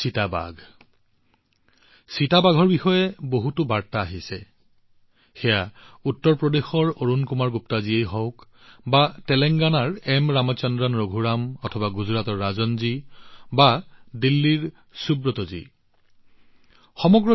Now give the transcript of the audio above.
চিতাৰ বিষয়ে কথা পাতিবলৈ বহুতো বাৰ্তা পাইচো সেয়া উত্তৰ প্ৰদেশৰ অৰুণ কুমাৰ গুপ্তাজীয়েই হওক বা তেলেংগানাৰ এন ৰামচন্দ্ৰন ৰঘুৰাম জীয়েই হওক গুজৰাটৰ ৰাজনজীয়েই হওক বা দিল্লীৰ সুব্ৰতজীয়েই হওক